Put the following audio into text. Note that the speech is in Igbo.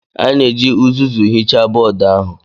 Anyị na-eji uzuzu hichaa bọọdụ ahụ